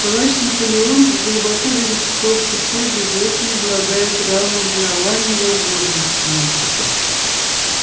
товарищ наполеон глубоко верит в то что все животные обладают равными правами и возможностями